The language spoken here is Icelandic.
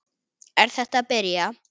Er þetta að byrja?